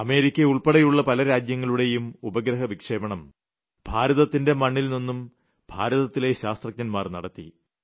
America ഉൾപ്പെടെയുളള പല രാഷ്ട്രങ്ങളുടെയും ഉപഗ്രഹ വിക്ഷേപണം ഭാരതത്തിന്റെ മണ്ണിൽ നിന്നും ഭാരതത്തിലെ ശാസ്ത്രജ്ഞൻമാർ നടത്തി